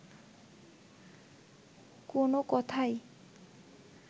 কোন কথাই